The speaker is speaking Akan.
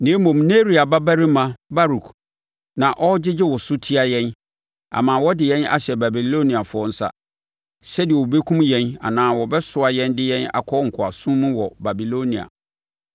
Na mmom Neria babarima Baruk na ɔregyegye wo so tia yɛn ama wɔde yɛn ahyɛ Babiloniafoɔ nsa, sɛdeɛ wɔbɛkum yɛn anaa wɔbɛsoa yɛn de yɛn akɔ nkoasom mu wɔ Babilonia.”